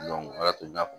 o la